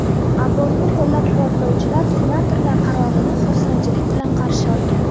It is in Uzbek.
Abortni qo‘llab-quvvatlovchilar senatorlar qarorini xursandchilik bilan qarshi olgan.